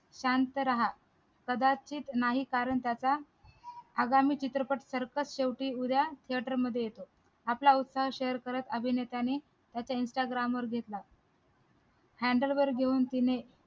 शांत रहा कदाचित नाही कारण त्याचा चित्रपट circus शेवटी उद्या theatre मध्ये येतो आपला उत्साह share करत अभिनेत्याने त्याच्या instagram वर दिसला वगैरे घेऊन तिने